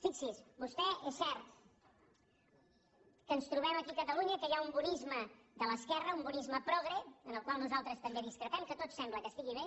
fixi·s’hi vostè és cert que ens trobem aquí a cata·lunya que hi ha un bonisme de l’esquerra un bo·nisme progre en el qual nosaltres també discrepem que tot sembla que estigui bé